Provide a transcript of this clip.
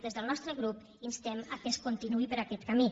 des del nostre grup instem que es continuï per aquest camí